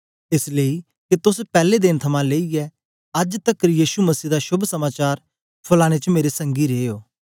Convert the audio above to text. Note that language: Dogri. एस लेई के तोस पैले देन थमां लेईयै अज्ज तकर यीशु मसीह दा शोभ समाचार फलाने च मेरे संगी रे ओ